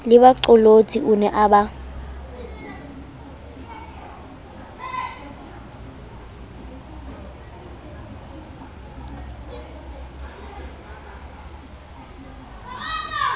lebaqolotsi o ne a ba